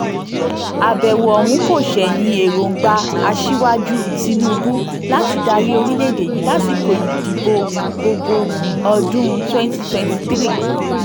àbẹ̀wò ọ̀hún kò ṣẹ̀yìn èròǹgbà aṣíwájú tìǹbù láti dárẹ́ orílẹ̀‐èdè yìí lásìkò ìdìbò gbọgbẹ̀ọ́ ọdún 2023